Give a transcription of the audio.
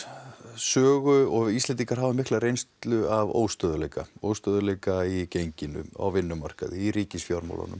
sögu og við Íslendingar höfum mikla reynslu af óstöðugleika óstöðugleika í genginu á vinnumarkaði í ríkisfjármálunum